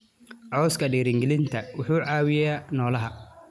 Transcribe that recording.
Cawska dhiirrigelinta wuxuu caawiyaa noolaha.